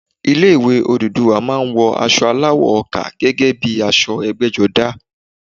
Ilé ìwé Odùduwà má a ń wọ asọ aláwọ̀ ọkà gẹ́gẹ́ bíi aṣọ ẹgbẹ́jọdá